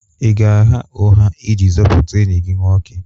Ị ga-agha ụgha iji zọpụta enyi gị nwoke?